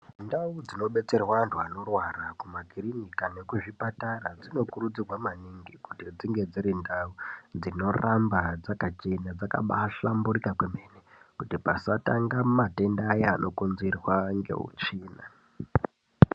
Ndau dzinodetserwa anthu anorwara mumakirinika nekuzvipatara dzinokurudzirwa maningi kuti dzinge dziri ndau dzinoramba dzakachena dzakabaahlamburika kwemene kuti pasatanga matenda aya anokonzerwa neutsvina.